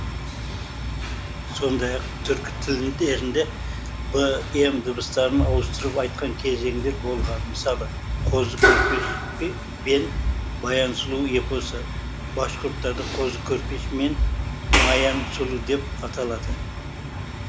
сондай ақ түркі тілдерінде б м дыбыстарын ауыстырып айтқан кезеңдері болған мысалы қозы көрпеш бен баян сұлу эпосы башқұрттарда қозы көрпеш мен маян сұлу деп аталады